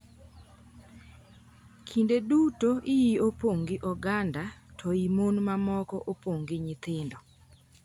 “Kinde duto ihi opong’ gi oganda, to hii mon mamoko opong’ gi nyithindo.